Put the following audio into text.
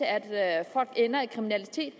at folk ender i kriminalitet